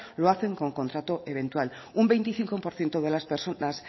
lo hace con contrato eventual un veinticinco por ciento de las personas